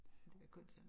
Det godt så